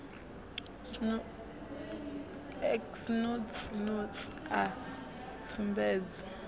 x notsi notsi a tsumbedzo